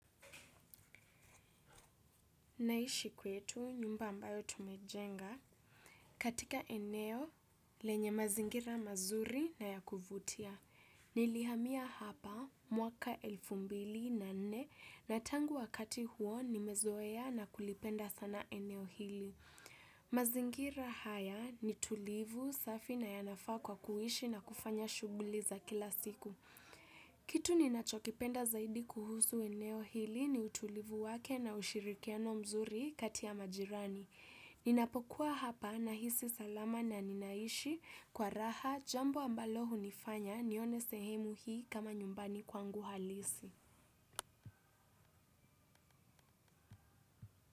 Naishi kwetu nyumba ambayo tumejenga katika eneo lenye mazingira mazuri na ya kuvutia. Nilihamia hapa mwaka elfu mbili na nne na tangu wakati huo nimezoea na kulipenda sana eneo hili. Mazingira haya ni tulivu safi na yanafaa kwa kuishi na kufanya shughuli za kila siku. Kitu ninachokipenda zaidi kuhusu eneo hili ni utulivu wake na ushirikiano mzuri kati ya majirani. Ninapokuwa hapa nahisi salama na ninaishi kwa raha jambo ambalo hunifanya nione sehemu hii kama nyumbani kwangu halisi.